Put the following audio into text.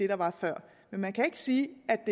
der var før men man kan ikke sige at